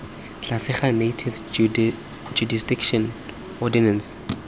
tlase ga native jurisdiction ordinance